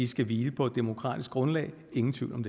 skal hvile på demokratisk grundlag ingen tvivl om